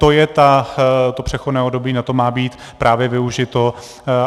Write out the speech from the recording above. To je to přechodné období, na to má být právě využito.